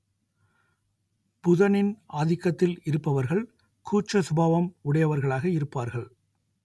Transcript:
புதனின் ஆதிக்கத்தில் இருப்பவர்கள் கூச்ச சுபாவம் உடையவர்களாக இருப்பார்கள்